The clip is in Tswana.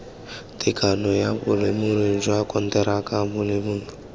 tekano bolemirui jwa konteraka bolemirui